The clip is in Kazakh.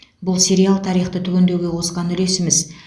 бұл сериал тарихты түгендеуге қосқан үлесіміз